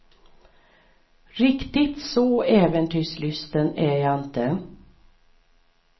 Riktigt så äventyrslysten är jag inte.